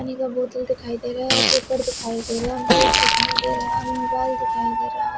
पानी का बोतल दिखाई दे रहा है पेपर दिखाई दे रहा बैग दिखाई दे रहा है और मोबाइल दिखाई दे रहा--